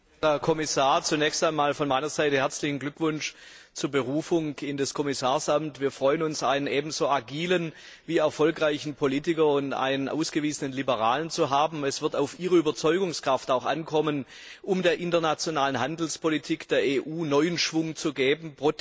Frau Präsidentin! Herr Kommissar! Zunächst einmal von meiner Seite herzlichen Glückwunsch zur Berufung in das Amt des Kommissars. Wir freuen uns, einen ebenso agilen wie erfolgreichen Politiker und einen ausgewiesenen Liberalen zu haben. Es wird auch auf Ihre Überzeugungskraft ankommen, um der internationalen Handelspolitik der EU neuen Schwung zu geben.